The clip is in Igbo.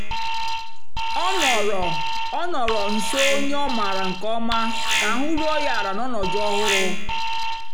ọ nọ̀rọ̀ ọ nọ̀rọ̀ nsó ònyè ọ́ mààra nkè ọ̀ma kà àhụ́ rùó ya àla n'ọnọ́dụ́ ọ̀hụrụ́.